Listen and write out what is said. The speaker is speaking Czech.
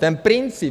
Ten princip.